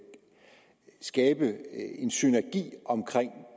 skabe en synergi omkring